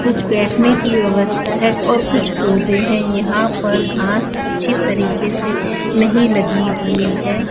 कुछ बैठने की व्यवस्था है और कुछ पौधे है यहां पर घास अच्छी तरीके से नहीं लगी हुई है।